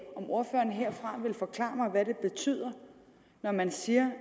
ordføreren her vil forklare mig hvad det betyder når man siger